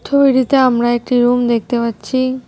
ছবিটিতে আমরা একটি রুম দেখতে পাচ্ছি।